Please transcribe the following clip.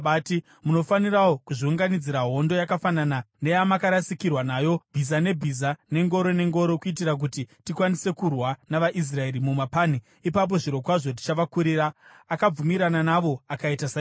Munofanirawo kuzviunganidzira hondo yakafanana neyamakarasikirwa nayo, bhiza nebhiza nengoro nengoro, kuitira kuti tikwanise kurwa navaIsraeri mumapani. Ipapo zvirokwazvo tichavakurira.” Akabvumirana navo akaita saizvozvo.